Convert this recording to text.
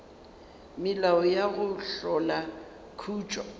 melao ya go hlola khutšo